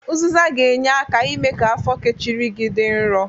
Ụzịza ga-enye aka ime ka afọ kechiri gi dị nrọ.